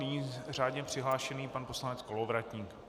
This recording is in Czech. Nyní řádně přihlášený pan poslanec Kolovratník.